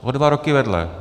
O dva roky vedle.